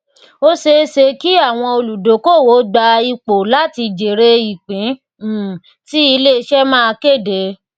ó ṣeé ṣe kí àwọn olùdókòwò gba ipò láti jẹrè ìpín um tí iléiṣẹ máa kéde